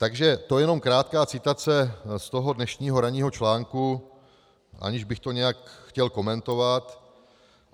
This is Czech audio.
Takže to jenom krátká citace z toho dnešního ranního článku, aniž bych to nějak chtěl komentovat.